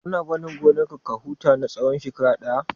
Kana barin gonar ka ya huta na tsawan shekara ɗaya?